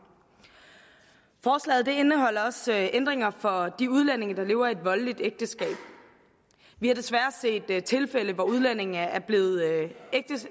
forslaget indeholder også ændringer for de udlændinge der lever i et voldeligt ægteskab vi har desværre set tilfælde hvor udlændinge er blevet